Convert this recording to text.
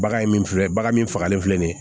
Bagan ye min filɛ bagan min fagalen filɛ nin ye